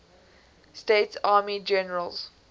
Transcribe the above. states army generals